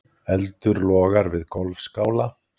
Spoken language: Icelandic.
Eldur logar við golfskála